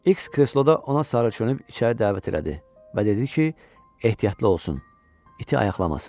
İks kresloda ona sarı çönüb içəri dəvət elədi və dedi ki, ehtiyatlı olsun, iti ayaqlamasın.